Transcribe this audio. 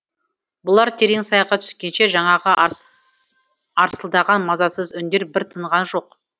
бұлар терең сайға түскенше жаңағы арсылдаған мазасыз үндер бір тынған жоқ